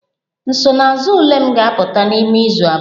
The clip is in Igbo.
Nsonaazụ ule m ga-apụta n'ime izu abụọ